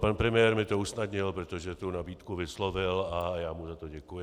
Pan premiér mi to usnadnil, protože tu nabídku vyslovil a já mu za to děkuji.